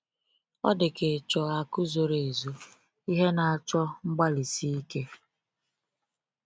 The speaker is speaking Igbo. Ọ dị ka ịchọ akụ zoro ezo—ihe na-achọ ngbalịsi ike.